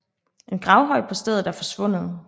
En gravhøj på stedet er forsvundet